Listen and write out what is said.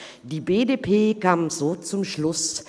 Die BDP kam so zum Schluss: